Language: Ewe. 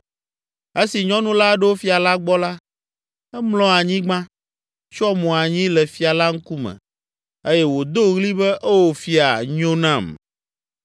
Esi nyɔnu la ɖo fia la gbɔ la, emlɔ anyigba, tsyɔ mo anyi le fia la ŋkume eye wòdo ɣli be, “Oo, fia, nyo nam!”